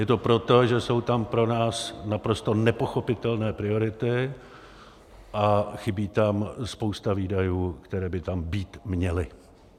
Je to proto, že jsou tam pro nás naprosto nepochopitelné priority a chybí tam spousta výdajů, které by tam být měly.